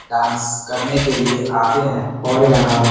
dance करने के लिए आते हैं और यहाँ--